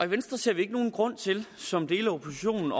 venstre ser vi ikke nogen grund til som dele af oppositionen